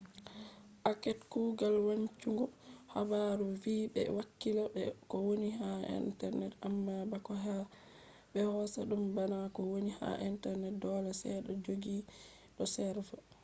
act kugal wancungo habaru vi be hakkila be ko woni ha internet amma bako be hosa dum bana ko woni ha internet dole se to jodi do serva